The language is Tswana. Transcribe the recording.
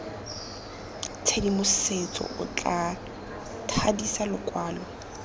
tshedimosetso o tla thadisa lokwalo